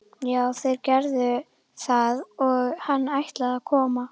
Já, þeir gerðu það og hann ætlaði að koma.